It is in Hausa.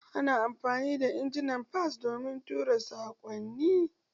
Ana amfani da injimin fas domin tura saƙonni.